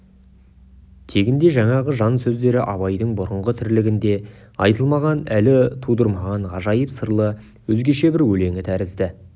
тегінде жаңағы жан сөздері абайдың бұрынғы тірлігінде айтылмаған әлі тудырмаған ғажайып сырлы өзгеше бір өлеңі тәрізді